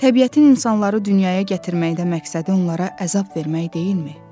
Təbiətin insanları dünyaya gətirməkdə məqsədi onlara əzab vermək deyilmi?